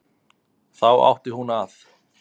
Þá átti hún að